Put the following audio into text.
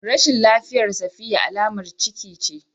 Rashin lafiyar safiya alamar ciki ce